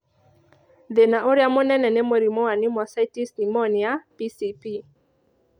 Thĩna ũrĩa mũnene nĩ mũrimũ wa pneumocystis pneumonia (PCP)